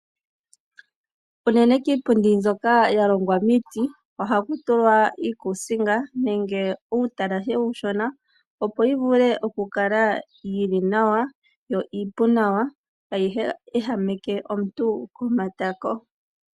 Unene kiipundi mbyoka ya longw amiiti ohaku tulwa uukuusinga nenge uutalashe uushona, opo yi vule okukala yi li nawa yo iipu nawa, kaayi ehameke omuntu kiikuutumbitho.